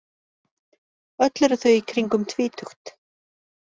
Öll eru þau í kringum tvítugt